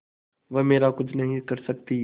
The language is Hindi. वह मेरा कुछ नहीं कर सकती